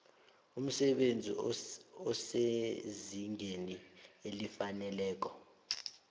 umsebenzi osezingeni elifaneleko